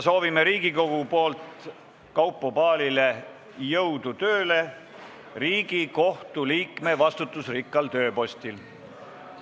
Soovime Riigikogu poolt Kaupo Paalile jõudu tööle Riigikohtu liikme vastutusrikkal tööpostil.